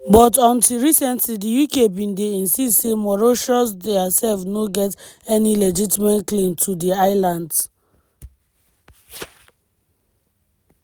but until recently di uk bin dey insist say mauritius diasef no get any legitimate claim to di islands.